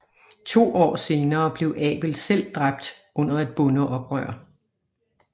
To år senere blev Abel selv dræbt under et bondeoprør